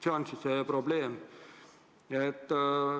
See on see probleem.